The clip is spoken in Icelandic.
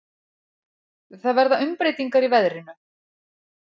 Það verða umbreytingar í veðrinu.